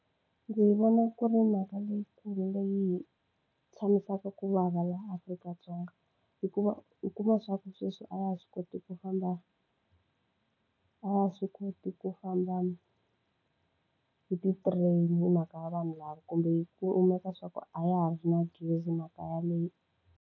Ndzi vona ku ri mhaka leyikulu leyi hi tshamisaka ku vava laha Afrika-Dzonga. Hikuva u kuma leswaku sweswi a ha ha swi koti ku famba, a ha ha swi koti ku famba hi ti-train-i hi mhaka ya vanhu lava kumbe ku kumeka leswaku a ha ha ri na gezi mhaka yaleyo.